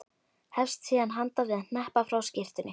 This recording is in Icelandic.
Hefst síðan handa við að hneppa frá skyrtunni.